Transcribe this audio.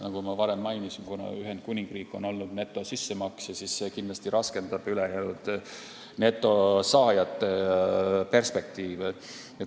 Nagu ma varem mainisin, on Ühendkuningriik olnud netosissemaksja ja see kindlasti raskendab ülejäänud netosaajate perspektiivi.